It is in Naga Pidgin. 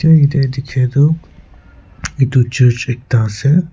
etia dikhia tu etu church ekta ase.